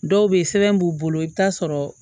Dɔw bɛ yen sɛbɛn b'u bolo i bɛ taa sɔrɔ